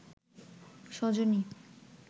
Sajani